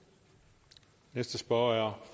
og